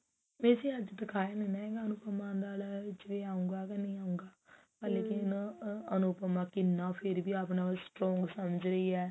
ਵੇਸੇ ਅੱਜ ਦੇਖਾਇਆ ਨੀ ਨਾ ਹੈਗਾ ਅਨੁਪਮਾ ਵਾਲਾ ਵਿੱਚ ਆਉੰਗਾ ਜਾਂ ਨਹੀ ਆਉੰਗਾ ਆਹ ਅਨੁਪਮਾ ਕਿੰਨਾ ਫ਼ੇਰ ਵੀ ਆਪਣੇ ਆਪ ਨੂੰ strong ਸਮਝ ਰਹੀ ਹੈ